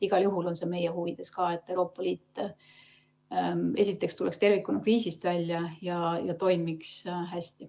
Igal juhul on see meie huvides ka, et Euroopa Liit tuleks tervikuna kriisist välja ja toimiks hästi.